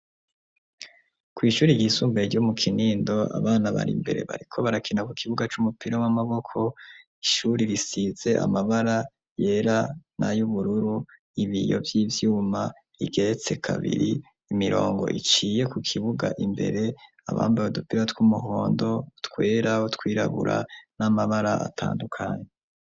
Kw'ishuri ryisumbae ryo mu kinindo abana bari imbere bariko barakina ku kibuga c'umupira w'amaboko ishuri risize amabara yera nayo ubururu ibiyo vy'ivyuma igeretse kabiri imirongo iciye ku kibuga imbere abambawe dupira tw'umuhondo tweraw kwirahura n'amabara atandukanyi.